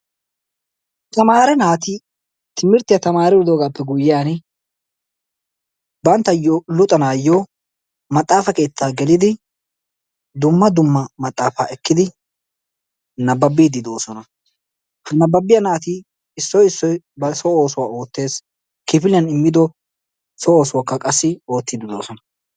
Tamare naati timirttiyaa taamridogaape guyyiyan banttayoo luxanayoo maxafa keettaa geelidi dumma dumma maxaafaa ekkidi nababiidi doosona. Ha nababiyaa naati issoy issoy bari so oossuwaa oottees. kifiliyaan immido so oosuwaaka wassi oottidi doosona.